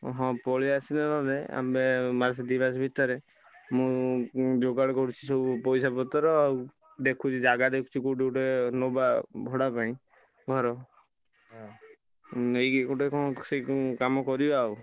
ହଁ ପଳେଇ ଆସିଲେ ନେହନେ ଆମେ ମାସେ ଦି ମାସ ଭିତରେ ମୁଁ ଯୁଗାଡ଼ କରୁଛି ସବୁ ପଇସା ପତ୍ର ଆଉ ଦେଖୁଚି ଜାଗା ଦେଖୁଚି କଉଠି ଗୁଟେ ନବା ଭଡା ପାଇଁ ଘର ନେଇକି ଗୁଟେ କଣ ସେଇ କାମ କରିବା ଆଉ।